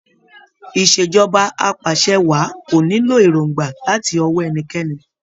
Ìṣèjọba apàṣẹwàá kò nílò èròngbà láti ọwó ẹnikẹ́ni.